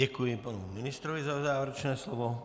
Děkuji panu ministrovi za závěrečné slovo.